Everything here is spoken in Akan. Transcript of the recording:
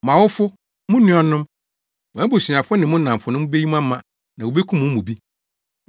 Mo awofo, mo nuanom, mo abusuafo ne mo nnamfonom beyi mo ama na wobekum mo mu bi.